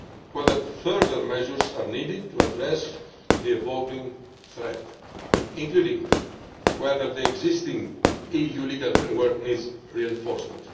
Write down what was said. consider whether further measures are needed to address the evolving threat, including whether the existing EU legal framework needs reinforcement.